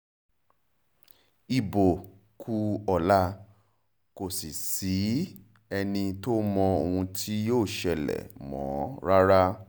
ibo kù ọ̀la kò sì sẹ́ni tó mọ ohun tí yóò ṣẹlẹ̀ mọ́ rárá